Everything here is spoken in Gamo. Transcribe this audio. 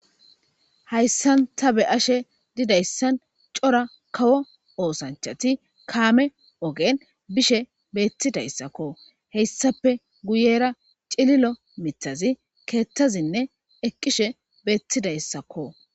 Hayssan ta be'isha dizaysi c'ora kawo ooththanchati kame ogen bishe betidayssakko . Hessappe guyera c'ilil miiththazi keethazinne eqishe betizayssakko.